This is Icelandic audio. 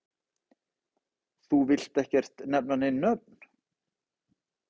Þú villt ekkert nefna nein nöfn?